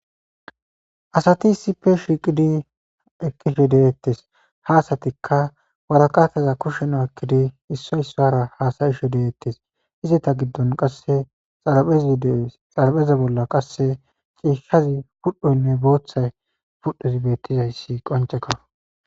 Asati sipe shiqidi ekishe deyettes haasatikka waraqataza kushen a ekkidi issoysara haasayishe deeettes izata giddon qasse edxarapeza bolla qasse ciishshazi pudhdhoynne booththay pudhozi beettizayssi qonceka.